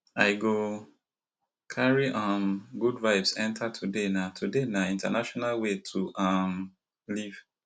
i go carry um good vibes enter today na today na in ten tional way to um live